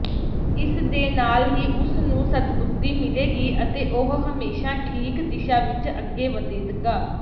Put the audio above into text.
ਇਸਦੇ ਨਾਲ ਹੀ ਉਸਨੂੰ ਸਦਬੁੱਧਿ ਮਿਲੇਗੀ ਅਤੇ ਉਹ ਹਮੇਸ਼ਾ ਠੀਕ ਦਿਸ਼ਾ ਵਿੱਚ ਅੱਗੇ ਵਧੇਗਾ